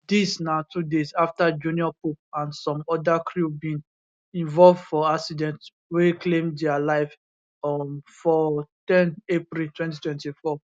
dis na two days afta junior pope and some oda crew bin involve for accident wey claim dia life um for ten april 2024